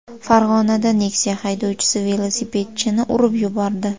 Farg‘onada Nexia haydovchisi velosipedchini urib yubordi.